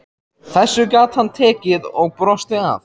Þessu gat hann tekið og brosti að.